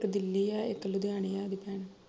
ਇੱਕ ਦਿੱਲੀ ਐ ਇੱਕ ਲੁਧਿਆਣੇ ਐ ਉਹਦੀ ਭੈਣ